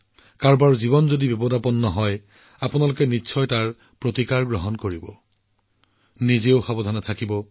যদি কাৰোবাৰ জীৱন বিপদত পৰে তেন্তে আপোনালোকে নিজৰ যত্ন লব লাগিব আৰু লগতে সমগ্ৰ অঞ্চলটোৰ যত্ন লব লাগিব